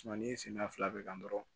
n'i sigira fila bɛ ka kan dɔrɔn